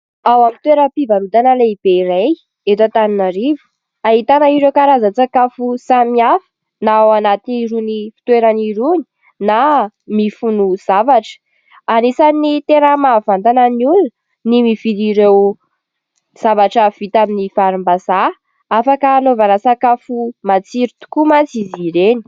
Ao amin'ny toeram-pivarotana lehibe iray eto antananarivo. Ahitana ireo karazan-tsakafo samihafa na ao anaty irony fitoerana irony na mifono zavatra. Anisany tena mahavantana ny olona ny mividy ireo zavatra vita amin'ny varimbazaha afaka anaovana sakafo matsiro tokoa mantsy izy ireny.